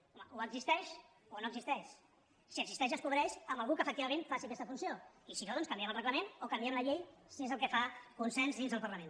home o existeix o no existeix si existeix es cobreix amb algú que efectivament faci aquesta funció i si no doncs canviem el reglament o canviem la llei si és el que fa consens dins del parlament